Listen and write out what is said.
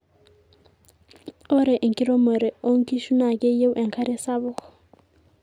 ore enkiremore onkishu naa keiyieu enkare sapuk